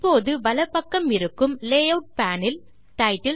இப்போது வலப்பக்கமிருக்கும் layout pane இல் டைட்டில்